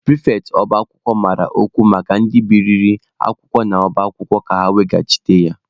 Pịrịfetị ọba akwụkwọ mara ọkwa maka ndị biliri akwụkwọ n'ọba akwụkwọ ka ha weghachi ya.